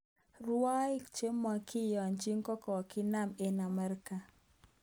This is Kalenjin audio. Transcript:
Rwoik chemokiyonji kokokinam eng Amerika